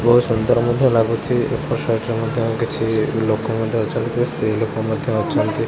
ବୋହୁତ୍ ସୁନ୍ଦର ମଧ୍ୟ ଲାଗୁଛି ଏପଟ ସାଇଟ୍ ରେ ମଧ୍ୟ କିଛି ଲୋକ ମଧ୍ୟ ଅଛନ୍ତି କିଛି ସ୍ତ୍ରୀ ଲୋକ ମଧ୍ୟ ଅଛନ୍ତି।